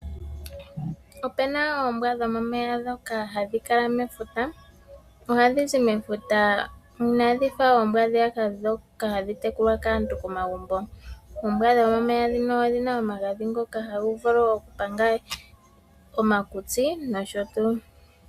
Opena oombwa dhomomeya dhoka hadhi kala mefuta, ohadhi zi mefuta inadhi fa oombwa dhiyaka dhoka hadhi tekulwa kaantu komagumbo. Oombwa dhomomeya dhika odhina omagadhi ngoka haga vulu okupanga omakutsi nosho tuu.